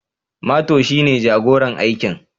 Mato shi ne jagoran aikin